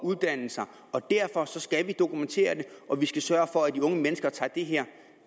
uddannelse og derfor skal vi dokumentere det og sørge for at de unge mennesker tager det her